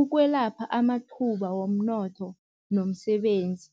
ukwelapha amathuba womnotho nomsebenzi.